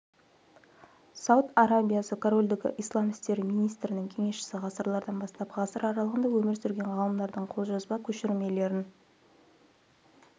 сауд арабиясы корольдігі ислам істері министрінің кеңесшісі ғасырлардан бастап ғасыр аралығында өмір сүрген ғалымдардың қолжазба көшірмелерін